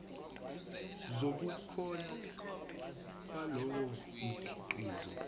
zobukhona balowo mkhiqizo